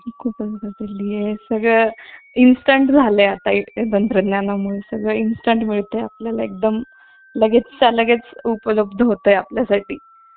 खूपच बदलली आहे सगळं Instant झाला आहे आता या तंत्रज्ञानामुळे सगळं Instant मिळत आहे आपल्याला एकदम लगेचच्या लगेच उपलब्ध होते आहे आपल्यासाठी